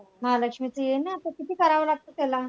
महालक्ष्मीचं येईन ना आता किती करावं लागतं त्याला?